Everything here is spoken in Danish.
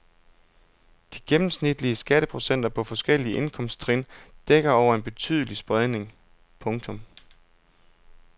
De gennemsnitlige skatteprocenter på forskellige indkomsttrin dækker over en betydelig spredning. punktum